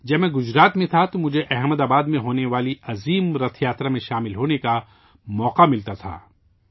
جب میں گجرات میں تھا تو مجھے احمد آباد میں ہونے والی عظیم رتھ یاترا میں شامل ہونے کا موقع ملتا تھا